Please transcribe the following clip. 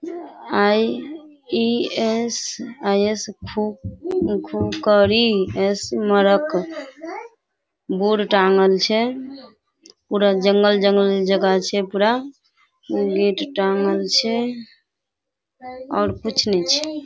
IES. IES. खूब-खूब करी। Board टाँगल छे पूरा जंगल जंगल जगह छे पूरा। गेट टाँगल छे और कुछ नै छे।